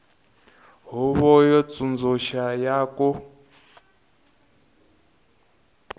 huvo yo tsundzuxa ya ku